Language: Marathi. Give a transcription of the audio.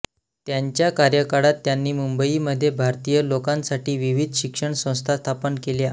त्यांच्या कार्यकाळात त्यांनी मुंबईमध्ये भारतीय लोकांसाठी विविध शिक्षण संस्था स्थापन केल्या